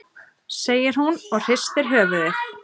segir hún og hristir höfuðið.